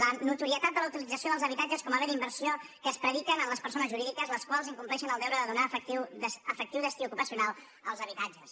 la no·torietat de la utilització dels habitatges com a béns d’inversió que es predica en les persones jurídiques les quals incompleixen el deure de donar efectiu destí ocupacional als habitatges